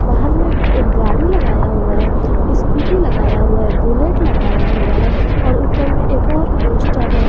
बाहर में एक गाड़ी लगाया हुआ है स्कूटी लगाया हुआ है बुलेट लगाया हुआ है और ऊपर में एक और पोस्टर है।